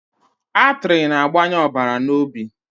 Atrị na-agbanye ọbara na obi